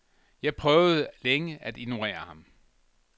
Jeg prøvede længe at ignorere ham.